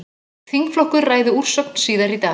Þingflokkur ræði úrsögn síðar í dag